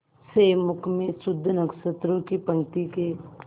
से मुख में शुद्ध नक्षत्रों की पंक्ति के